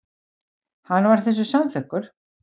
Hann var þessu samþykkur.